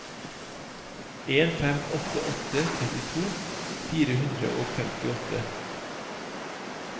en fem åtte åtte trettito fire hundre og femtiåtte